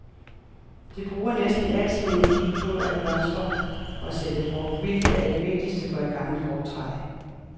Det bruger næsten al sin energi på at blomstre og sætte frugt, hvilket er det vigtigste for et gammelt frugttræ.